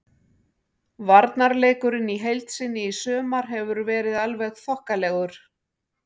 Varnarleikurinn í heild sinni í sumar hefur verið alveg þokkalegur.